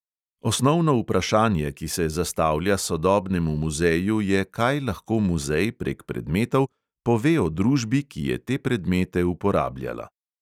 Osnovno vprašanje, ki se zastavlja sodobnemu muzeju, je, kaj lahko muzej prek predmetov pove o družbi, ki je te predmete uporabljala.